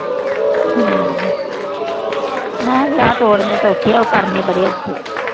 ਮੈਂ ਕਿਹਾ ਵਿਆਹ ਤੋੜਨੇ ਤਾਂ ਸੌਖੇ ਆ। ਕਰਨੇ ਬੜੇ ਔਖੇ ਆ।